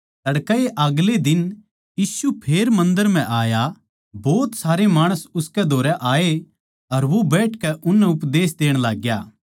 तड़कैए अगले दिन यीशु फेर मन्दर म्ह आया भोत सारे माणस उसकै धोरै आए अर वो बैठकै उननै उपदेश देण लाग्या